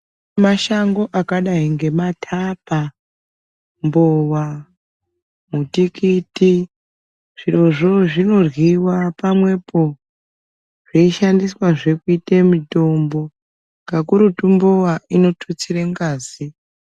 Mashango akadai ngematapa ,mbowa ,mutikiti zvirozvo zvinoryiwa pamwepo zveishandiswazve kuite mutombo kakurutu mbowa inotutsire ngazi.